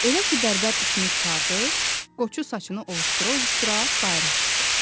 Elə ki bərbər işini qurtardı, Qoçu saçını ovuşdura-ovuşdura bayıra çıxdı.